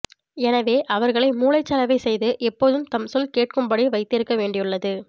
எனவே அவர்களை மூளைச்சலவை செய்து எப்போதும் தம் சொல் கேட்கும் படி வைத்திருக்க வேண்டியுள்ளது